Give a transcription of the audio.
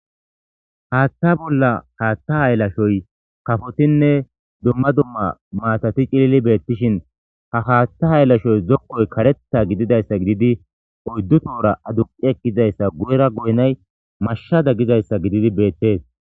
Haatha ollan , haatha haylashoy kafotinne dumma dumma maatatti cililli betishin, ha haatha haylashoy zokkoy karetha gididdaysa gididi oyddu tohora aduqqi ekkidayssa goyera goynna y mashshadan gidizayssa gididi beetees.